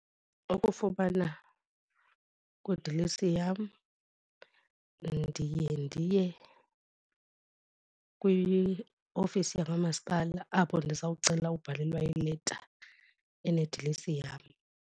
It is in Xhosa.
Ukufumana kwidilesi yam ndiye ndiye kwiofisi yakwamasipala apho ndizawucela ubalelwa ileta enedilesi yam.